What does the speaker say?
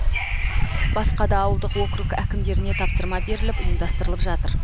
басқа да ауылдық округ әкімдеріне тапсырма беріліп ұйымдастырылып жатыр